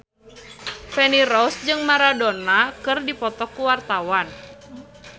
Feni Rose jeung Maradona keur dipoto ku wartawan